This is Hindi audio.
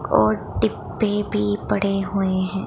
और डिब्बे भी पड़े हुए हैं।